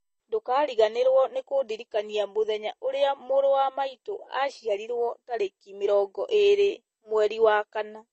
ndũkariganĩrwo kũndirikania mũthenya ũrĩa mũrũ wa maitũ aciarirwo tarĩki mĩrongo ĩĩrĩ mweri wa kana